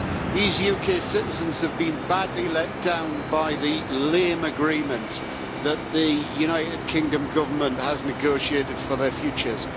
These UK citizens have been badly let down by the lame agreement that the United Kingdom Government has negotiated for their futures.